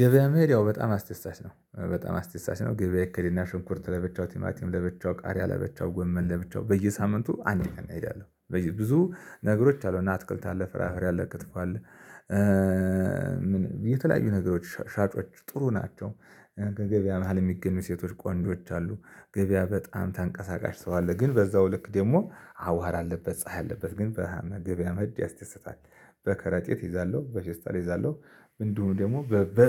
ገበያ መሄድ ያው በጣም አስደሳች ነው፥ በጣም አስደሳች ነው። ገበያ ይኬድና ሽንኩርት ለብቻው፣ ቲማቲም ለብቻው፣ ቃሪያ ለብቻው፣ ጎመን ለብቻው፣ በየሳምንቱ አንድ ቀን እሄዳለሁ። ብዙ ነገሮች አሉ እና አትክልት አለ፣ ፍራፍሬ አለ፣ ክትፎ አለ። የተለያዩ ነገሮች ሻጮች ጥሩ ናቸው። ገበያ መሃል የሚገኙ ሴቶች ቆንጆዎች አሉ። ገበያ በጣም ተንቀሳቃሽ ሰው አለ። ግን በዛው ልክ ደግሞ አዋራ አለበት ፀሀይ አለበት ግን ገበያ መሄድ ያስደስታል። በከረጢት እይዛለሁ፣ በፌስታል እይዛለሁ፣ እንዲሁም ደግሞ በ